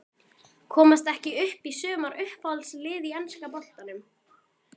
Komast ekki upp í sumar Uppáhalds lið í enska boltanum?